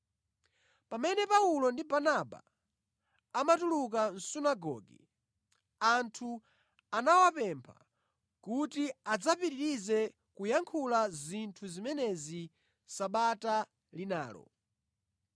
Pamene Paulo ndi Barnaba amatuluka mʼSunagoge, anthu anawapempha kuti adzapitirize kuyankhula zinthu zimenezi Sabata linalo.